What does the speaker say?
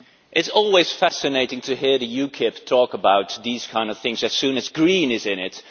It is always fascinating to hear UKIP talk about these kinds of things as soon as green' is in it.